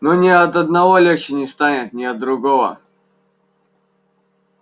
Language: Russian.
но ни от одного легче не станет ни от другого